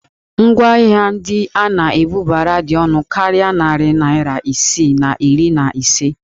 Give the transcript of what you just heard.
Ngwaahịa ndị a na-ebubara dị ọnụ karịa narị naira isii na iri na ise